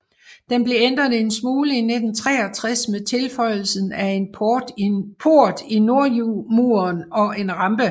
Den blev ændret en smule i 1963 med tilføjelsen af en port i nordmuren og en rampe